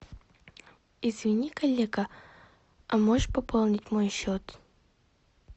извини коллега а можешь пополнить мой счет